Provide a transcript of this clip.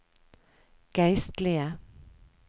geistlige